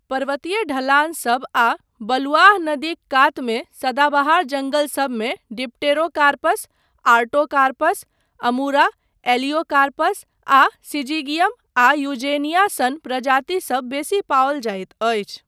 पर्वतीय ढलानसब आ बलुआह नदीक कातमे सदाबहार जङ्गलसबमे डिप्टेरोकार्पस, आर्टोकार्पस, अमूरा, एलियोकार्पस आ सिजिगियम आ यूजेनिया सन प्रजातिसब बेसी पाओल जाइत अछि।